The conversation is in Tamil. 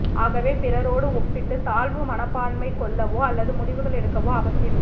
ஆகவே பிறரோடு ஒப்பிட்டு தாழ்வு மனப்பான்மை கொள்ளவோ அல்லது முடிவுகள் எடுக்கவோ அவசியமில்லை